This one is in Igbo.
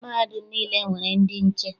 Mahadum niile nwere ndị nche.